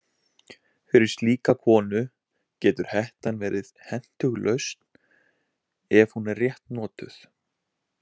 Fyrir slíka konu getur hettan verið hentug lausn ef hún er rétt notuð.